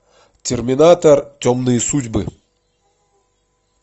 терминатор темные судьбы